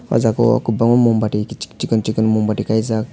o jaga o kobangma mombatti cikon cikon kaijak.